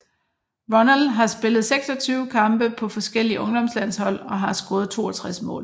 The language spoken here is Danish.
Ronald har spillet 26 kampe på forskellige ungdomslandshold og har scoret 62 mål